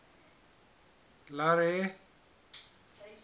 larry